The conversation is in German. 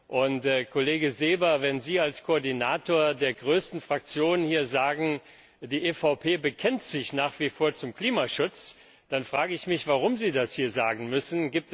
Herr Kollege Seeber, wenn Sie als Koordinator der größten Fraktion hier sagen, die EVP bekennt sich nach wie vor zum Klimaschutz, dann frage ich mich, warum Sie das hier sagen müssen.